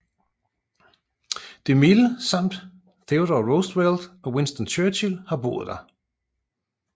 DeMille samt Theodore Roosevelt og Winston Churchill har boet der